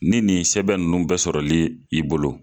Ni nin sɛbɛn ninnu bɛ sɔrɔli i bolo